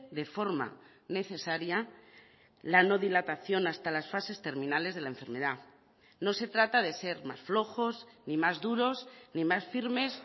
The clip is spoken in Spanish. de forma necesaria la no dilatación hasta las fases terminales de la enfermedad no se trata de ser más flojos ni más duros ni más firmes